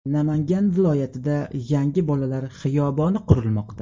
Namangan viloyatida yangi bolalar xiyoboni qurilmoqda.